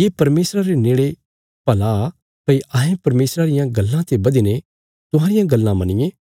ये परमेशरा रे नेड़े भला भई अहें परमेशरा रियां गल्लां ते बधीने तुहांरियां गल्लां मन्निये